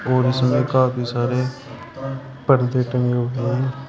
और इसमें काफी सारे पर्दे टंगे हुए है।